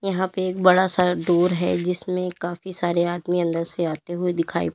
यहां पे एक बड़ा सा डोर है जिसमें काफी सारे आदमी अंदर से आते हुए दिखाई--